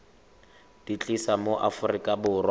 di tlisa mo aforika borwa